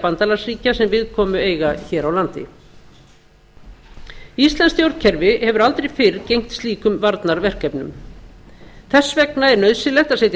bandalagsríkja sem viðkomu eiga hér á landi íslenskt stjórnkerfi hefur aldrei fyrr gegnt slíkum varnarverkefnum þess vegna er nauðsynlegt að setja